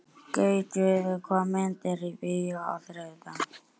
Gautviður, hvaða myndir eru í bíó á þriðjudaginn?